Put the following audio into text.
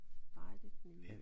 Dejligt med